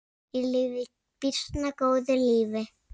Ég lifi býsna góðu lífi!